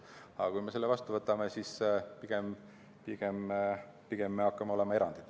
Aga kui me selle seaduse vastu võtame, siis me pigem hakkame olema erandid.